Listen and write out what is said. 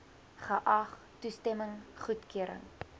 geag toestemming goedkeuring